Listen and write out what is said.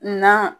Na